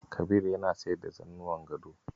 Kabir yana sayar da zannuwan gado.